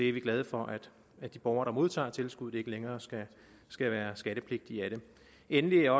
er glade for at de borgere der modtager tilskuddet ikke længere skal skal være skattepligtige af det endelig er